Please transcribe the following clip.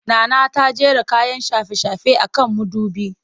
Nana ta jera kayan shafe-shafe a kan mudubi